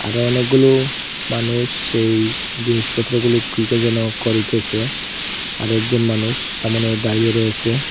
আরও অনেকগুলো মানুষ এই জিনিসপত্রগুলো কি কি যেন করিতেসে আরেকজন মানুষ সামোনে দাঁড়িয়ে রয়েসে।